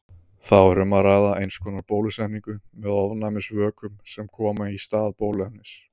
Þá er um að ræða eins konar bólusetningu með ofnæmisvökum sem koma í stað bóluefnis.